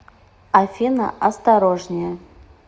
афина осторожнее